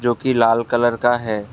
जो कि लाल कलर का है।